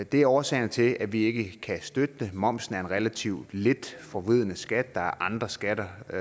det er årsagen til at vi ikke kan støtte det momsen er en relativt lidt forvridende skat der er andre skatter og